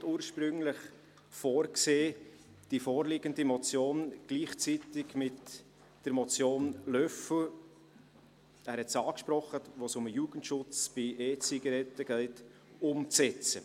Der Regierungsrat hat ursprünglich vorgesehen, die vorliegende Motion gleichzeitig mit der Motion Löffel umzusetzen – er hat es angesprochen –, wo es um den Jugendschutz bei EZigaretten geht.